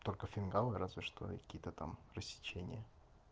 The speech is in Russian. только фингал разве что и какие-то там рассечения